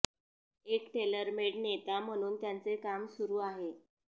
एक टेलरमेड नेता म्हणून त्यांचे काम सुरु आहे